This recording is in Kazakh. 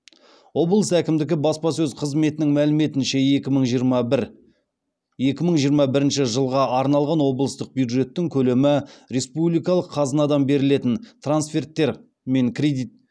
облыс әкімдігі баспасөз қызметінің мәліметінше екі мың жиырма бірінші жылға арналған облыстық бюджеттің көлемі республикалық қазынадан берілетін трансферттер мен кредит